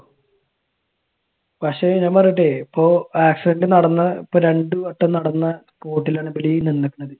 പക്ഷെ, ഞാൻ പറയട്ടെ. ഇപ്പൊ accident നടന്ന ഇപ്പൊ രണ്ട് വട്ടം നടന്ന spot ഇൽ ആണ് ഇവർ ഈ നിന്നേക്കണത്.